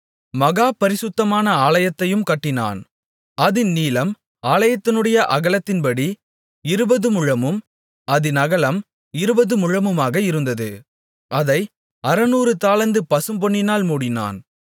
மகா பரிசுத்தமான ஆலயத்தையும் கட்டினான் அதின் நீளம் ஆலயத்தினுடைய அகலத்தின்படி இருபதுமுழமும் அதின் அகலம் இருபது முழமுமாக இருந்தது அதை அறுநூறு தாலந்து பசும்பொன்னினால் மூடினான்